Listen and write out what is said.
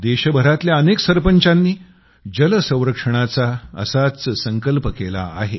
देशभरातल्या अनेक संरपंचांनी जल संरक्षणाचा असाच संकल्प केला आहे